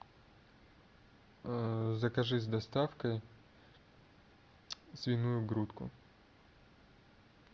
закажи с доставкой свиную грудку